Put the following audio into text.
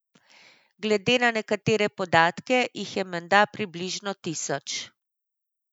Glede na nekatere podatke jih je menda približno tisoč.